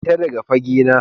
Fita daga fage na